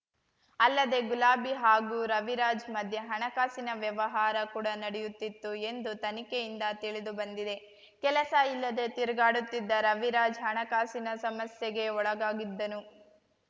ಅಲ್ಲದೆ ಗುಲಾಬಿ ಹಾಗೂ ರವಿರಾಜ್ ಮಧ್ಯೆ ಹಣಕಾಸಿನ ವ್ಯವಹಾರ ಕೂಡ ನಡೆಯುತ್ತಿತ್ತು ಎಂದು ತನಿಖೆಯಿಂದ ತಿಳಿದುಬಂದಿದೆ ಕೆಲಸ ಇಲ್ಲದೆ ತಿರುಗಾಡುತ್ತಿದ್ದ ರವಿರಾಜ್ ಹಣಕಾಸಿನ ಸಮಸ್ಯೆಗೆ ಒಳಗಾಗಿದ್ದನು